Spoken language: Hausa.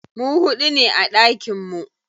Mu huɗu ne a ɗakin mu.